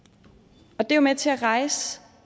og det er jo med til at rejse